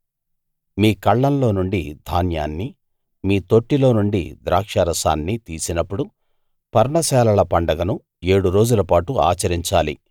మీ కళ్ళంలో నుండి ధాన్యాన్ని మీ తొట్టిలో నుండి ద్రాక్షరసాన్ని తీసినప్పుడు పర్ణశాలల పండగను ఏడు రోజులపాటు ఆచరించాలి